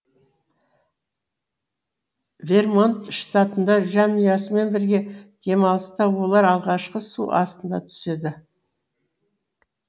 вермонт штатында жанұясымен бірге демалыста олар алғашқы су астына түседі